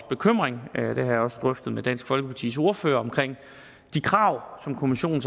bekymring det har jeg også drøftet med dansk folkepartis ordfører om de krav som kommissionen